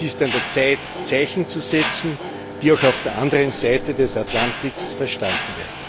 Es ist an der Zeit, Zeichen zu setzen, die auch auf der anderen Seite des Atlantiks verstanden werden.